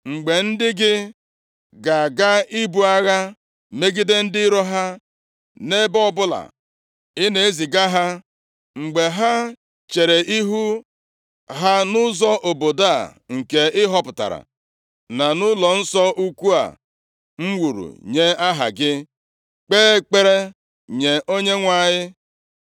“Mgbe ndị gị ga-aga ibu agha megide ndị iro ha, nʼebe ọbụla ị na-eziga ha, mgbe ha chere ihu ha nʼụzọ obodo a nke ị họpụtara na nʼụlọnsọ ukwu a m wuru nye Aha gị, kpee ekpere nye Onyenwe anyị,